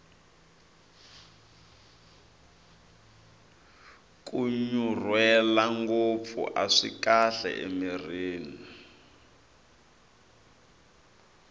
kunyunrwela ngopfu aswi kahle emirhini